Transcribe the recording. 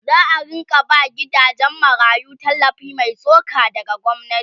za'a rinka ba gidajen marayu tallafi Mai tsoka daga gwamnati